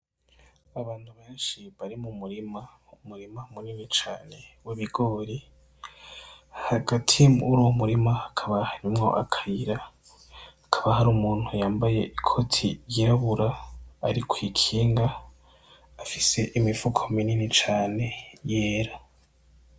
Abantu benshi bari mu murima, umurima munini cane w'ibigori. Hagati muruwo murima hakaba harimwo akayira. Hakaba hari umuntu yambaye ikoti ryirabura ari kw'ikinga, afise imifuko minini cane yera.